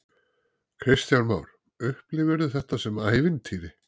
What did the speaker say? Kristján Már: Upplifirðu þetta sem ævintýri?